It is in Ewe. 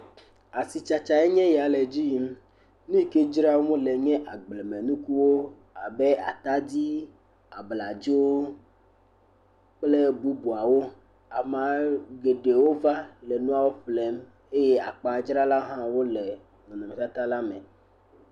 Asitsatsa nyea ya le edzi yim. Nu yi ke dzram wole nye agblemenukuwo abe atadi, abladzo, kple bubuawo. Amea geɖe wova le nua ƒle eye akpadzrala hã wo le nu ɖaka la me.